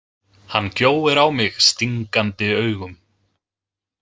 Hann gjóir á mig stingandi augum.